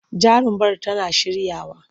Jarumar tana shiryawa.